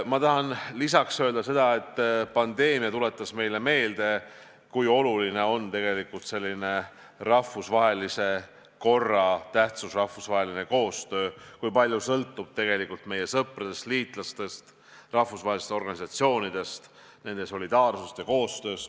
Ma tahan lisaks öelda seda, et pandeemia tuletas meile meelde, kui oluline on rahvusvaheline kord, rahvusvaheline koostöö, kui palju sõltub tegelikult meie sõpradest, liitlastest, rahvusvahelistest organisatsioonidest, nende solidaarsusest ja koostööst.